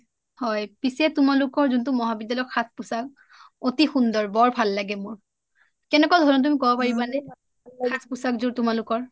পিছে তোমালোকৰ মহাবিদ্যালয়ৰ যোনটো সাঁজ পোছাক অতি সুন্দৰ বৰ ভাল লাগে মোৰ কেনেকুৱা ধৰণৰ তুমি কব পাৰিবা নে সাঁজ পোছাক যোৰ তোমালোকৰ